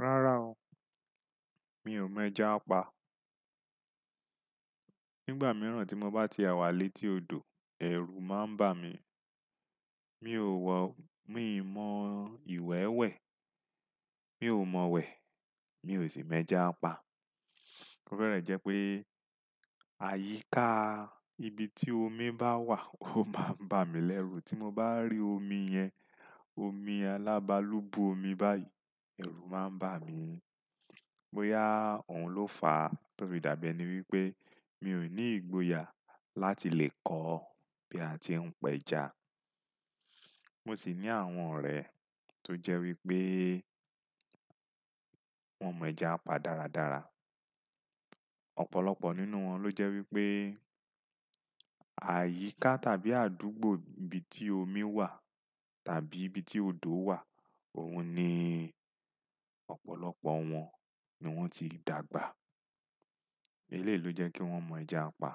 Rárá o, mi ò mọ ẹja pa. Nígbà mìíràn tí mo bá tie wàlé tí odò, ẹ̀rù máa ń bà mí. Mi ò wọ̀, mi mọ ìwẹ́wẹ̀, mi ò mọ̀wẹ̀, mi ò sì mọ ẹja pa. Ó bẹ́rẹ̀ jẹ́ pé àyíká ibi tí omi bá wà ó máa ń bà mí lẹ́rù. Tí mo bá rí omi yẹn, omi alábàálù bu omi báyìí, ẹ̀rù máa ń bà mí. Bóyá òun ló fà á tóbí dàbí ẹni wípé mi ò ní ìgboyà láti lè kọ́ bí a tí ń pẹja. Mo sì ní àwọn ọ̀rẹ́ tó jẹ́ wípé wọ́n mọ ẹja pa dáradára. Ọ̀pọ̀lọpọ̀ nínú wọn ló jẹ́ wípé àyíká tàbí àdúgbò ibi tí omi wà tàbí ibi tí odò wà, òun ni ọ̀pọ̀lọpọ̀ wọn ni wọ́n ti dàgbà. Eléyi lo jẹ́ kí wọ́n mọ ẹja pa.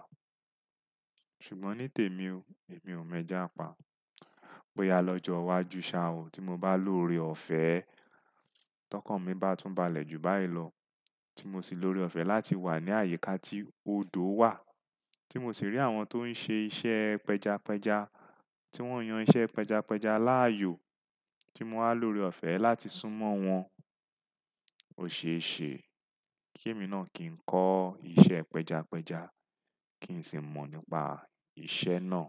Ṣùgbọ́n ní tèmi o, èmi ò mọ ẹja pa. Bóyá lọ́jọ́ iwájú ṣá o tí mo bá lórí ọ̀fẹ́, tọkànmi bá tún balẹ̀ ju báyìí lọ, tí mo sì lórí ọ̀fẹ́ láti wà ní àyíká tí odò wà, tí mo sì rí àwọn tó ń ṣe iṣẹ́ pẹjapẹja, tí wọ́n yan iṣẹ́ pẹjapẹja láàyò, tí mo wá lórí ọ̀fẹ́ láti súnmọ́ wọn, ò ṣe é ṣe kí èmi náà kì í kọ́ iṣẹ́ pẹjapẹja, kí n sì mọ̀ nípa iṣẹ́ náà.